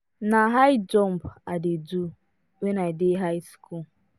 na high jump i dey do wen i dey high school